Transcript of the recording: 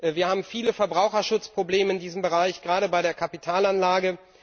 Wir haben viele Verbraucherschutzprobleme in diesem Bereich gerade bei der Kapitalanlage.